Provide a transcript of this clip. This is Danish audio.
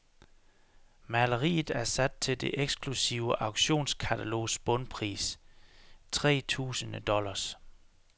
Maleriet er sat til det eksklusive auktionskatalogs bundpris, tretusinde dollars.